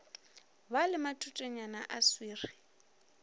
ba le matutenyana a swiri